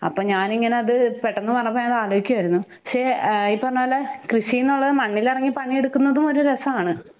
അപ്പ ഞാനിങ്ങനെ അത് പെട്ടെന്നുപറഞ്ഞപ്പൊ ഞാൻ അത് ആലോചിക്കുവാരുന്നു. പക്ഷേ ഏഹ് ഈ പറഞ്ഞപോലെ കൃഷീനുള്ളത് മണ്ണിലിറങ്ങി പണിയെടുക്കുന്നതും ഒരുരസാണ്.